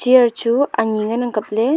chair chu ani ngan ang kaple.